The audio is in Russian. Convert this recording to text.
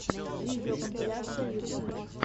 видеокомпиляции ютуб